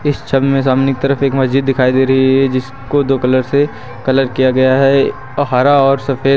इस छवि में सामने की तरफ एक मस्जिद दिखाई दे रही है जिसको दो कलर से कलर किया गया है हरा और सफेद--